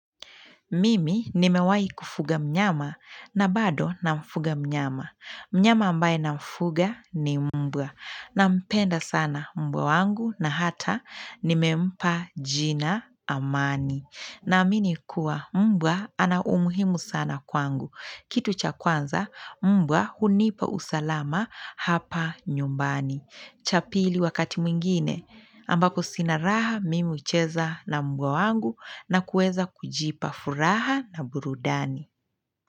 Mimi nimewai kufuga mnyama na bado namfuga mnyama. Mnyama ambaye namfuga ni mbwa. Nampenda sana mbwa wangu na hata nimempa jina amani. Naamini kuwa mbwa ana umuhimu sana kwangu. Kitu cha kwanza mbwa hunipa usalama hapa nyumbani. Cha pili wakati mwingine ambako sina raha mimi ucheza na mbwa wangu na kueza kujipa furaha na burudani.